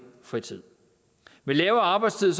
fritid med lavere arbejdstid